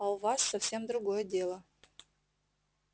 а у вас совсем другое дело